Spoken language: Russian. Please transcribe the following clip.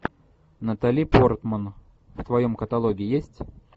натали портман в твоем каталоге есть